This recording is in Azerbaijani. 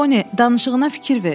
Poni, danışığına fikir ver.